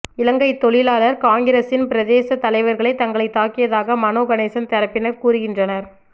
இலங்கைத் தொழிலாளர் காங்கிரஸின் பிரதேசத் தலைவர்களே தங்களைத் தாக்கியதாக மனோ கணேசன் தரப்பினர் கூறுகின்றனர்